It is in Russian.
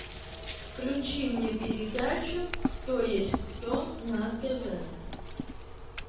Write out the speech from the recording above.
включи мне передачу кто есть кто на тв